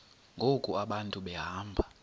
ngoku abantu behamba